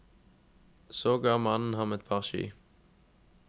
Så ga mannen ham et par ski.